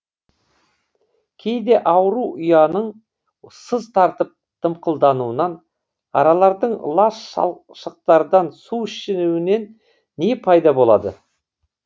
кейде ауру ұяның сыз тартып дымқылдануынан аралардың лас шалшықтардан су ішуінен де пайда болады